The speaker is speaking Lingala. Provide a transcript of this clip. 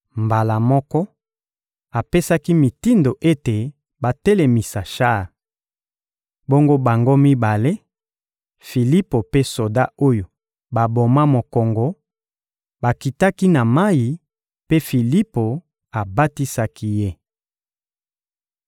Mbala moko, apesaki mitindo ete batelemisa shar. Bongo bango mibale, Filipo mpe soda oyo baboma mokongo, bakitaki na mayi, mpe Filipo abatisaki ye.